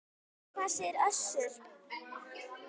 En hvað segir Össur?